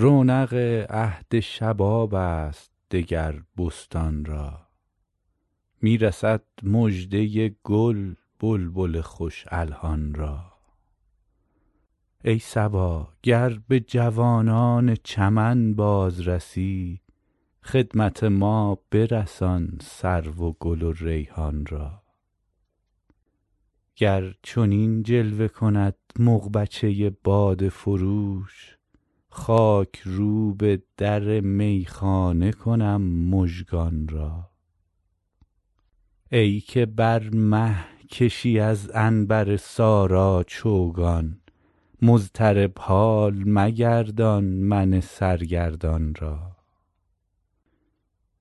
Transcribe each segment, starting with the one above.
رونق عهد شباب است دگر بستان را می رسد مژده گل بلبل خوش الحان را ای صبا گر به جوانان چمن باز رسی خدمت ما برسان سرو و گل و ریحان را گر چنین جلوه کند مغبچه باده فروش خاک روب در میخانه کنم مژگان را ای که بر مه کشی از عنبر سارا چوگان مضطرب حال مگردان من سرگردان را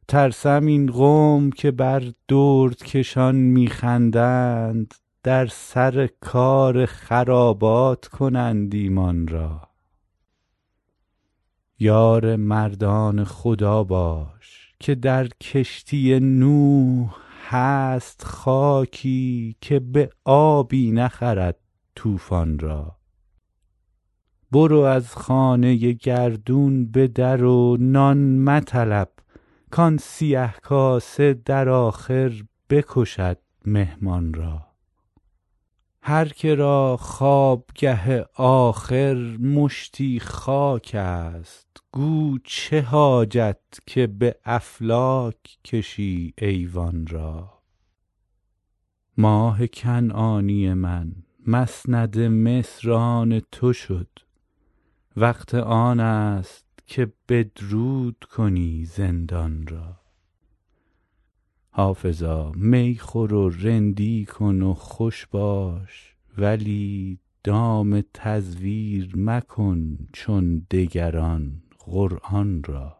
ترسم این قوم که بر دردکشان می خندند در سر کار خرابات کنند ایمان را یار مردان خدا باش که در کشتی نوح هست خاکی که به آبی نخرد طوفان را برو از خانه گردون به در و نان مطلب کآن سیه کاسه در آخر بکشد مهمان را هر که را خوابگه آخر مشتی خاک است گو چه حاجت که به افلاک کشی ایوان را ماه کنعانی من مسند مصر آن تو شد وقت آن است که بدرود کنی زندان را حافظا می خور و رندی کن و خوش باش ولی دام تزویر مکن چون دگران قرآن را